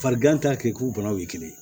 Farigan t'a kɛ k'u banaw ye kelen ye